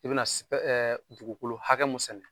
I bɛ na dugukolo hakɛ mun sɛnɛ.